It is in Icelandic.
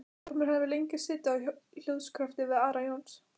Ormur hafði lengi setið á hljóðskrafi við Ara Jónsson.